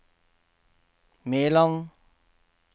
Meland